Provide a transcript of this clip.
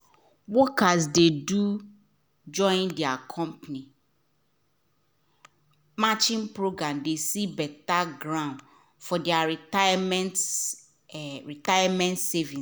workers dey do join their company matching program de see better growth for their retirement retirement savings